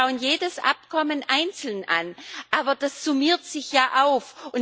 Wir schauen jedes Abkommen einzeln an, aber das summiert sich ja auf.